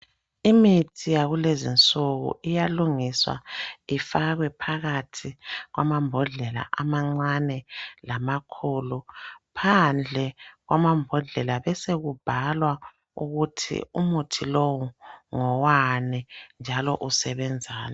Imithi yakulezinsuku iyalungiswa ifakwe phakathi kwamambodlela amancane lamakhulu. Phandle kwamambodlela besekubhalwa ukuthi umuthi lowo ngowani njalo usebenzani.